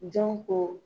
Jɔn ko